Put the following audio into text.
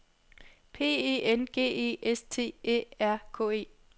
P E N G E S T Æ R K E